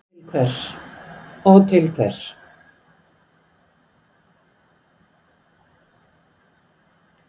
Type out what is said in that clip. Og til hvers?